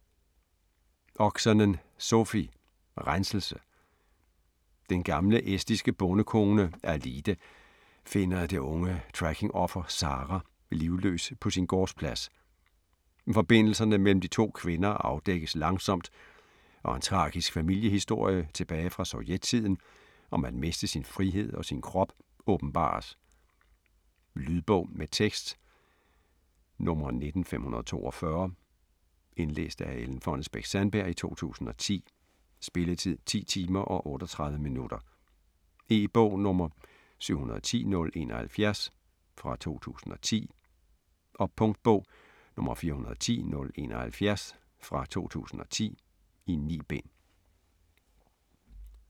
Oksanen, Sofi: Renselse Den gamle estiske bondekone, Aliide finder det unge traffickingoffer, Zara, livløs på sin gårdsplads. Forbindelserne mellem de to kvinder afdækkes langsomt, og en tragisk familiehistorie tilbage fra Sovjettiden om at miste sin frihed og sin krop, åbenbares. Lydbog med tekst 19542 Indlæst af Ellen Fonnesbech-Sandberg, 2010. Spilletid: 10 timer, 38 minutter. E-bog 710071 2010. Punktbog 410071 2010. 9 bind.